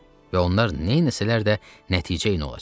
Və onlar neyləsələr də nəticəyin olacaq.